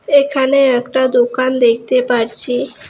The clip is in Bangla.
এখানে একটা দোকান দেখতে পারছি।